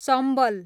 Chambal